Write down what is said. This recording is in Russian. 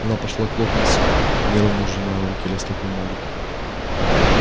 она пошла к локонсу нервно сжимая в руке листок бумаги